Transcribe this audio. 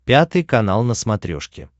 пятый канал на смотрешке